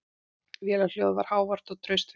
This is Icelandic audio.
Vélarhljóðið var hávært og traustvekjandi.